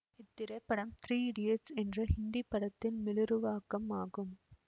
இத்திரைப்படம் Three Idiots என்ற ஹிந்தி படத்தின் மீளுருவாக்கம் ஆகும்